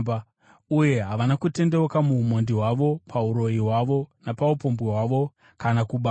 Uye havana kutendeuka muumhondi hwavo, pauroyi hwavo, napaupombwe hwavo, kana kuba kwavo.